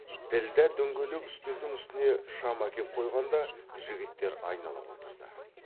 ділдә дөңгелек үстелдің үстіне шам әкеп қойғанда жігіттер айнала отырды